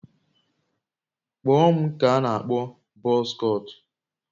Kpụọ m nke a n'akpọ bọz kọtụ